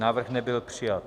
Návrh nebyl přijat.